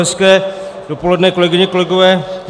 Hezké dopoledne, kolegyně, kolegové.